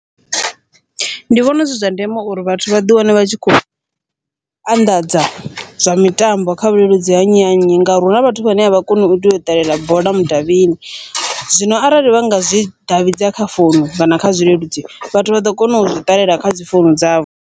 Ndi vhona zwi zwa ndeme uri vhathu vhaḓi wane vha tshi khou anḓadza zwa mitambo kha vhuleludzi ha nnyi na nnyi, ngauri huna vhathu vhane avha koni uto uya u ṱalela bola mudavhini, zwino arali vha nga zwi davhidza kha founu kana kha zwileludzi vhathu vha ḓo kona u zwi ṱalela kha dzi founu dzavho.